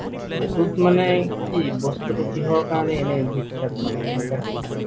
এইটোত মানে কি, বস্তুটো কিহৰ কাৰণে এনেই বিখ্যাত মানে? কেনেকুৱা কি?